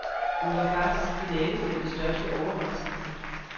Hun var faktisk finalefeltets største overraskelse.